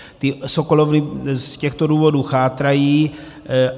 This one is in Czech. Ty sokolovny z těchto důvodů chátrají.